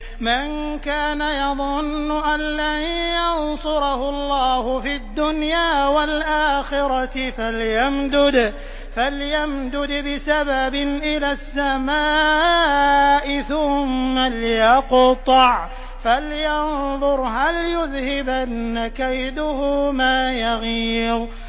مَن كَانَ يَظُنُّ أَن لَّن يَنصُرَهُ اللَّهُ فِي الدُّنْيَا وَالْآخِرَةِ فَلْيَمْدُدْ بِسَبَبٍ إِلَى السَّمَاءِ ثُمَّ لْيَقْطَعْ فَلْيَنظُرْ هَلْ يُذْهِبَنَّ كَيْدُهُ مَا يَغِيظُ